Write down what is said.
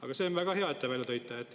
Aga see on väga hea, et te selle välja tõite.